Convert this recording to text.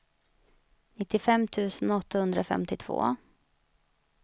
nittiofem tusen åttahundrafemtiotvå